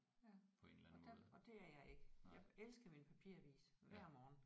Ja og der og det er jeg ikke. Jeg elsker min papiravis hver morgen